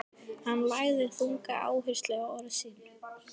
Hann lagði þunga áherslu á orð sín.